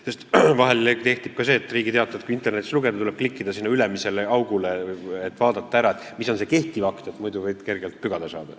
Sest vahel, kui Riigi Teatajat internetis lugeda, tuleb klikkida sinna ülemisele augule, et vaadata, mis on see kehtiv akt, muidu võid kergelt pügada saada.